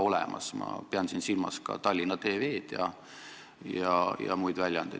Ma pean siin silmas ka muid väljaandeid ja Tallinna TV-d.